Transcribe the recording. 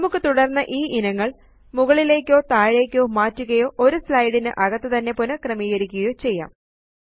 നമുക്ക് തുടര്ന്ന് ഈ ഇനങ്ങളെ മുകളിലേയ്ക്കോ താഴേയ്ക്കോ മാറ്റുകയോ ഒരു സ്ലൈഡ് ന് അകത്തുതന്നെ പുനഃക്രമീകരിക്കുകയോ ചെയ്യാം